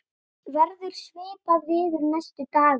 verður svipað veður næstu daga